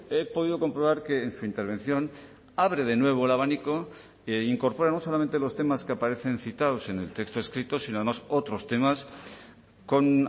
he podido comprobar que en su intervención abre de nuevo el abanico e incorpora no solamente los temas que aparecen citados en el texto escrito sino además otros temas con